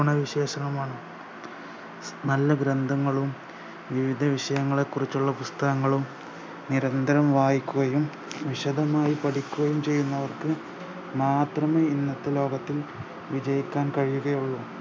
ഗുണ വിശേഷങ്ങളുമാണ് നല്ല ഗ്രമ്പ്ഥങ്ങളും നീതി വിഷയങ്ങളെക്കുറിച്ചുള്ള പുസ്തകങ്ങളും നിരന്തരം വായിക്കുകയും വിശദമായി പഠിക്കുകയും ചെയ്യുന്നവർക്ക് മാത്രമേ ഇന്നത്തെ ലോകത്ത് വിജയിക്കാൻ കഴിയുകയുള്ളു